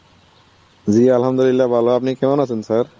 জি Arbi ভালো. আপনি কেমন আছেন sir?